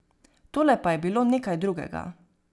Tole pa je bilo nekaj drugega.